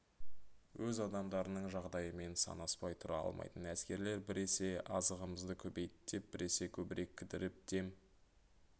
өз адамдарының жағдайымен санаспай тұра алмайтын әскерлер біресе азығымызды көбейт деп біресе көбірек кідіріп дем